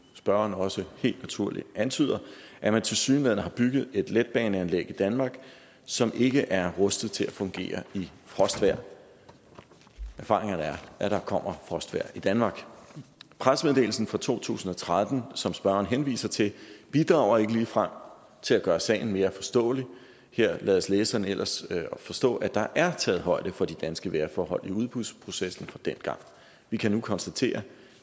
spørgeren også helt naturligt antyder at man tilsyneladende har bygget et letbaneanlæg i danmark som ikke er rustet til at fungere i frostvejr erfaringerne er at der kommer frostvejr i danmark pressemeddelelsen fra to tusind og tretten som spørgeren henviser til bidrager ikke ligefrem til at gøre sagen mere forståelig her lades læseren ellers at forstå at der er taget højde for de danske vejrforhold i udbudsprocessen fra dengang vi kan nu konstatere at